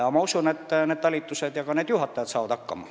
Aga ma usun, et talitused ja nende juhatajad saavad hakkama.